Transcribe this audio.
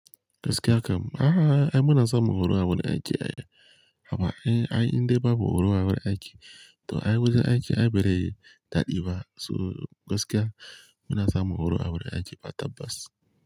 Gaskiya kam, a'a ai muna samu horo a wurin aiki ai. Amma ai, ai indai babu horo a wurin aiki. To ai wajen aiki ai ba zai daɗi ba. So gaskiya muna samun horo a wurin aiki ba tabbas.